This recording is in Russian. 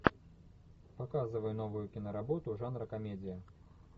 показывай новую киноработу жанра комедия